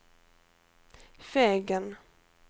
Fegen